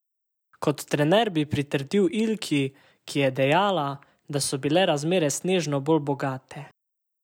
Kot trener bi pritrdil Ilki, ki je dejala, da so bile razmere snežno bolj bogate.